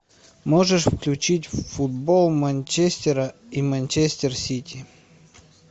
можешь включить футбол манчестера и манчестер сити